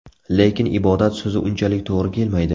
Lekin ibodat so‘zi unchalik to‘g‘ri kelmaydi.